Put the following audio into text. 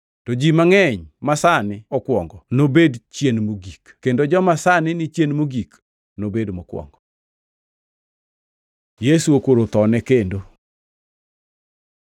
To ji mangʼeny masani okwongo nobed chien mogik, kendo joma sani ni chien mogik, nobed mokwongo.” Yesu okoro thone kendo